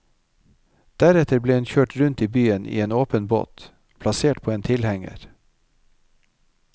Deretter ble hun kjørt rundt i byen i en åpen båt, plassert på en tilhenger.